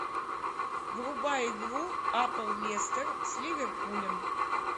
врубай игру апл лестер с ливерпулем